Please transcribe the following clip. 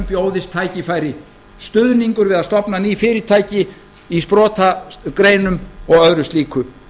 bjóðist tækifæri stuðningur við að stofna ný fyrirtæki í sprotagreinum og öðru slíku